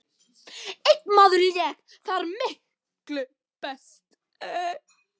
Einn maður lék þar miklu best.